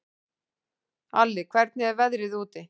Alli, hvernig er veðrið úti?